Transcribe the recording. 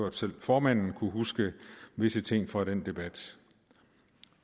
at selv formanden kunne huske visse ting fra den debat